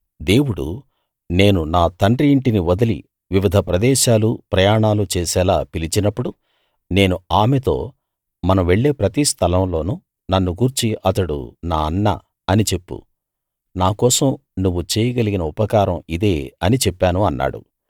దేవుడు నేను నా తండ్రి ఇంటిని వదిలి వివిధ ప్రదేశాలు ప్రయాణాలు చేసేలా పిలిచినప్పుడు నేను ఆమెతో మనం వెళ్ళే ప్రతి స్థలం లోనూ నన్ను గూర్చి అతడు నా అన్న అని చెప్పు నా కోసం నువ్వు చేయగలిగిన ఉపకారం ఇదే అని చెప్పాను అన్నాడు